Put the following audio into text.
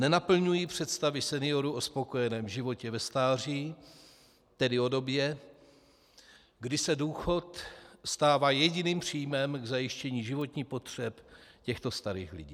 Nenaplňují představy seniorů o spokojeném životě ve stáří, tedy o době, kdy se důchod stává jediným příjmem k zajištění životních potřeb těchto starých lidí.